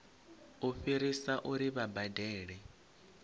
u fhirisa uri vha badele